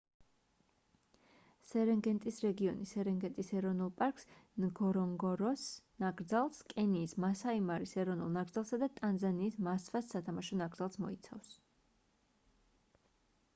სერენგეტის რეგიონი სერენგეტის ეროვნულ პარკს ნგორონგოროს ნაკრძალს კენიის მასაი-მარის ეროვნულ ნაკრძალსა და ტანზანიის მასვას სათამაშო ნაკრძალს მოიცავს